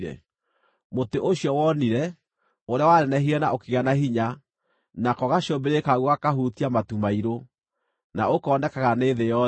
Mũtĩ ũcio wonire, ũrĩa wanenehire na ũkĩgĩa na hinya, nako gacũmbĩrĩ kaguo gakahutia matu mairũ, na ũkoonekaga nĩ thĩ yothe,